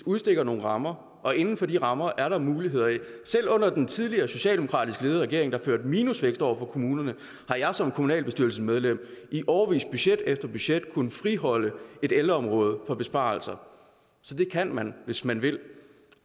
udstikker nogle rammer og inden for de rammer er der nogle muligheder selv under den tidligere socialdemokratisk ledede regering der førte minusvækst over for kommunerne har jeg som kommunalbestyrelsesmedlem i årevis budget efter budget kunnet friholde et ældreområde for besparelser så det kan man hvis man vil